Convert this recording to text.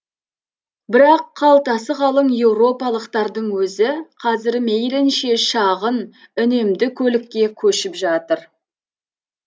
бірақ қалтасы қалың еуропалықтардың өзі қазір мейлінше шағын үнемді көлікке көшіп жатыр